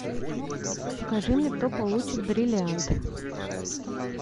покажи мне кто получит бриллиант